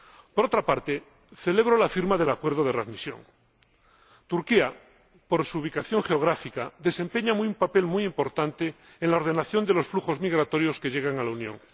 Por otra parte, celebro la firma del Acuerdo de readmisión. Turquía, por su ubicación geográfica, desempeña un papel muy importante en la ordenación de los flujos migratorios que llegan a la Unión.